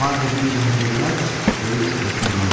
vardı bir gənc dövlət, böyük hökmran.